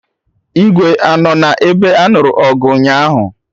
Igwe anọ na ebe anụrụ ọgụ ụnyaahụ?